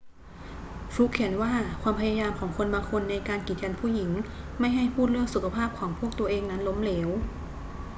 ฟลุกเขียนว่าความพยายามของคนบางคนในการกีดกันผู้หญิงไม่ให้พูดเรื่องสุขภาพของพวกตัวเองนั้นล้มเหลว